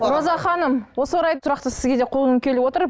роза ханым осы орайда сұрақты сізге де қойғым келіп отыр